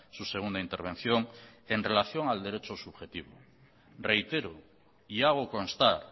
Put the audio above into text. su segunda intervención en relación al derecho subjetivo reitero y hago constar